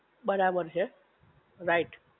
બરાબર છે, રાઇટ